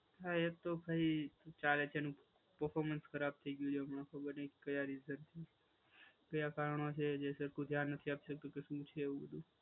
હા એ તો ભાઈ ચાલે છે એનું પરફોર્મન્સ ખરાબ થઈ ગયું છે હમણાં ખબર નહીં કયા રીતે. કયા કારણો છે જે સરખું ધ્યાન નથી આપતો કે શું છે એવું બધું.